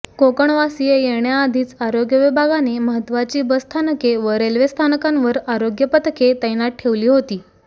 कोकणवासीय येण्याआधीच आरोग्य विभागाने महत्त्वाची बसस्थानके व रेल्वे स्थानकांवर आरोग्य पथके तैनात ठेवली होती